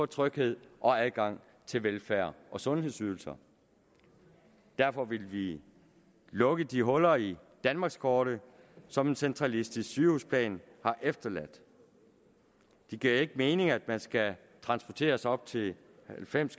tryghed og adgang til velfærd og sundhedsydelser derfor ville vi lukke de huller i danmarkskortet som en centralistisk sygehusplan har efterladt det giver ikke mening at man skal transporteres op til halvfems